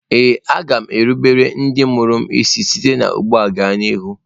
Ee a ga m erubere ndị mụrụ m isi site ugbu a gaa n'ihu.